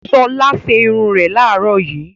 Ṣọlá ṣe irun rẹ̀ láàárọ̀ yìí.